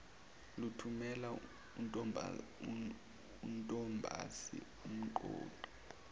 lathumela untombazi umqoqi